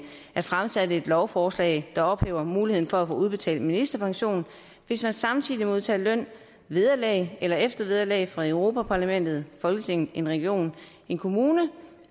at fremsætte et lovforslag der ophæver muligheden for at få udbetalt ministerpension hvis man samtidig modtager løn vederlag eller eftervederlag fra europa parlamentet folketinget en region en kommune